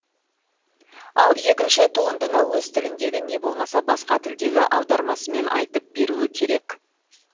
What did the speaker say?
ал екінші туындыны өз тіліндегі не болмаса басқа тілдегі аудармасымен айтып беруі керек